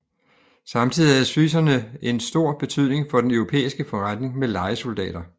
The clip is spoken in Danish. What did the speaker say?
Samtidig havde schwyzerne en stor betydning for den europæiske forretning med lejesoldater